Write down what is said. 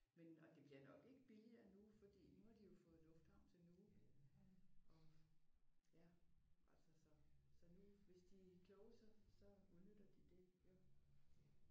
Men og det bliver nok ikke billigere nu fordi nu har de jo fået lufthavn til Nuuk. Og ja altså så nu så hvis de er kloge så så udnytter de det jo